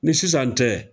Ni sisan tɛ